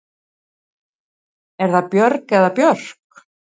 Er það Björg eða Björk?